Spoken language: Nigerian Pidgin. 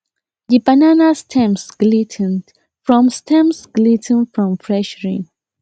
the banana stems glis ten ed from stems glis ten ed from fresh rain